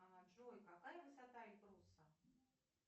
джой какая высота эльбруса